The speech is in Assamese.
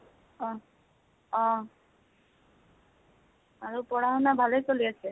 অহ অহ, আৰু পঢ়া শুনা ভালে চলে আছে?